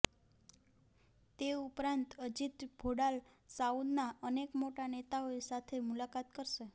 તે ઉપરાંત અજિત ડોભાલ સાઉદના અનેક મોટા નેતાઓ સાથે મુલાકાત કરશે